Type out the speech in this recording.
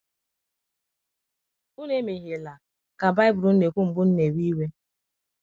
“ ụnụ emehiela ” ka Bibụlụ na - ekwụ, “ mgbe unu na - ewe iwe.. ”